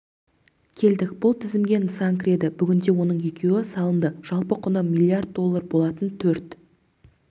келдік бұл тізімге нысан кіреді бүгінде оның екеуі салынды жалпы құны млрд доллар болатын төрт